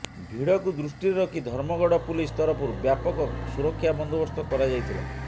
ଭିଡକୁ ଦୃଷ୍ଟିରେ ରଖି ଧର୍ମଗଡ ପୁଲିସ ତରଫରୁ ବ୍ୟାପକ ସୁରକ୍ଷା ବନ୍ଦୋବସ୍ତ କରାଯାଇଥିଲା